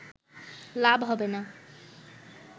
লাভ হবে না